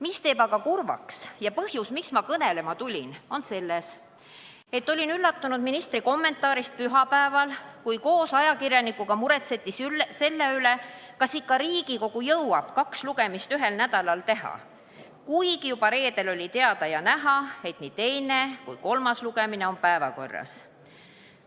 Mis teeb aga kurvaks ja põhjus, miks ma kõnelema tulin, on selles, et olin üllatunud ministri kommentaarist pühapäeval, kui koos ajakirjanikuga muretseti selle pärast, kas Riigikogu ikka jõuab kaks lugemist ühel nädalal teha, kuigi juba reedel oli teada ja näha, et nii teine kui ka kolmas lugemine on päevakorras.